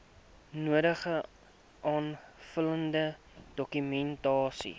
nodige aanvullende dokumentasie